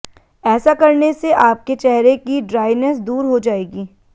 ऐसा करने से आपके चेहरे की ड्राईनेस दूर हो जाएगी